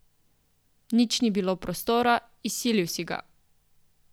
Nič ni bilo prostora, izsilil si ga.